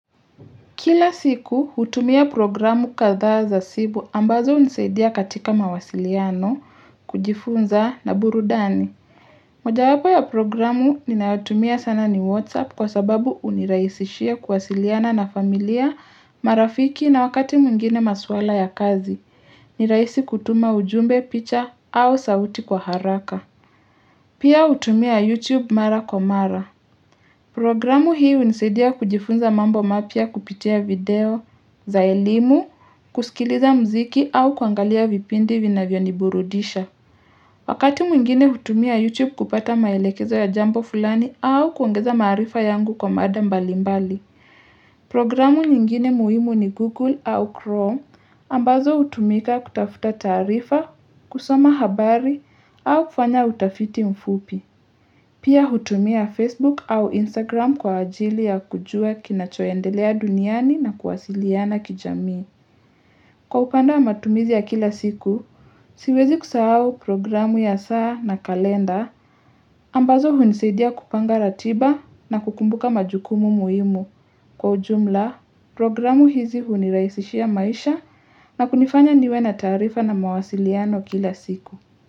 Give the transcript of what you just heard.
Kila siku hutumia programu kadhaa za simu ambazo hunisaidia katika mawasiliano kujifunza na burudani. Mojawapo ya programu ninayotumia sana ni WhatsApp kwa sababu uniraisishia kuwasiliana na familia marafiki na wakati mwengine maswala ya kazi. Ni raisi kutuma ujumbe picha au sauti kwa haraka. Pia hutumia YouTube Mara Kwa mara. Programu hii hunisaidia kujifunza mambo mapya kupitia video za elimu, kusikiliza mziki au kuangalia vipindi vinavyoniburudisha. Wakati mwingine hutumia YouTube kupata maelekezo ya jambo fulani au kuongeza maarifa yangu kwa mada mbalimbali. Programu nyingine muhimu ni Google au Chrome ambazo hutumika kutafuta taarifa, kusoma habari au kufanya utafiti mfupi. Pia hutumia Facebook au Instagram kwa ajili ya kujua kinachoendelea duniani na kuwasiliana kijamii. Kwa upande wa matumizi ya kila siku, siwezi kusahauol programu ya saa na kalenda, ambazo hunisaidia kupanga ratiba na kukumbuka majukumu muhimu. Kwa ujumla, programu hizi huniraisishia maisha na kunifanya niwe na taarifa na mawasiliano kila siku.